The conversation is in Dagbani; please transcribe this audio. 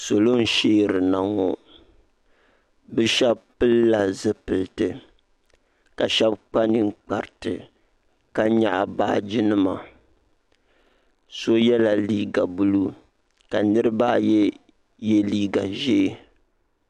Salo n shɛarina ŋɔ bi shɛba pili la zupiliti ka shɛba kpa ninkpara ti ka yɛɣi baaji nima so yela liiga buluu ka niriba ayi ye liiga zɛhi.